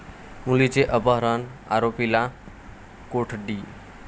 मुलीचे अपहरण, आरोपीला कोठडी